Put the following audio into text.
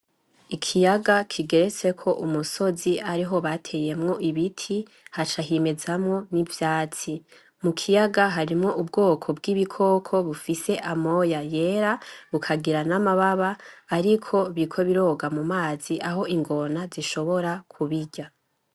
IKiyaga kigeretseko umusozi ariho bateyeko Ibiti haca hamezamwo n'utwatsi, mukiyaya hari udukoko bufise amoya yera bukagira n'amababa ariko biriko buroga ,aho ingona zishobora no kubirya.